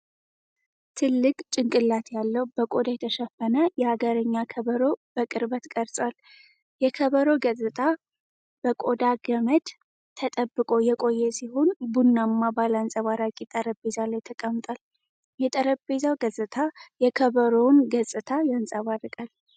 ትልቅ ጭንቅላት ያለው በቆዳ የተሸፈነ የአገርኛ ከበሮ በቅርበት ቀርጿል። የከበሮው ገጽታ በቆዳ ገመድ ተጠብቆ የቆየ ሲሆን ቡናማ ባለ አንጸባራቂ ጠረጴዛ ላይ ተቀምጧል። የጠረጴዛው ገጽታ የከበሮውን ገጽታ ያንጸባርቃል።